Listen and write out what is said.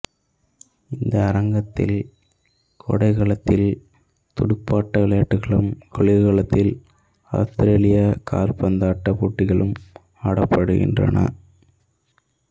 இந்த அரங்கத்தில் கோடைக்காலத்தில் துடுப்பாட்ட விளையாட்டுக்களும் குளிர்காலத்தில் ஆத்திரேலிய காற்பந்தாட்ட போட்டிகளும் ஆடப்படுகின்றன